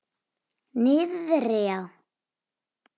Niðri já.